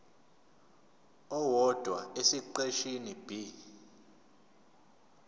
owodwa esiqeshini b